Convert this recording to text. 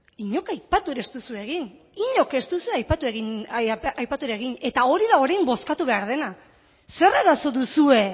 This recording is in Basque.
inork aipatu ere ez duzue egin inork ez duzue aipatu ere egin eta hori da orain bozkatu behar dena ze arazo duzue